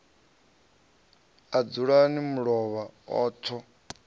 a dzulani mulovha a tho